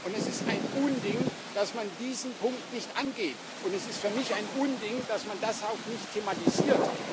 Es ist ein Unding, dass man diesen Punkt nicht angeht, und es ist für mich ein Unding, dass man das auch nicht thematisiert.